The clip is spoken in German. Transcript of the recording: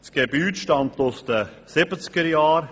Das Gebäude stammt aus den 1970er-Jahren.